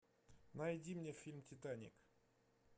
найди мне фильм титаник